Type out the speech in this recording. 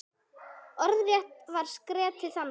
Orðrétt var skeytið þannig